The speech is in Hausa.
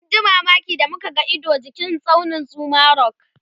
mun ji mamaki da muka ga Ido jikin tsaunin Zuma rock